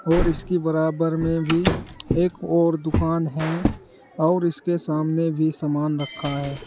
और इसकी बराबर में भी एक और दुकान है और इसके सामने भी सामान रखा है।